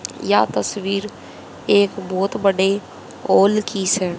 यह तस्वीर एक बहोत बड़े हैं।